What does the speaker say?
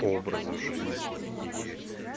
образа жизни и